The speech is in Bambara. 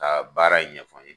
Ka baara in ɲɛfɔ n ye.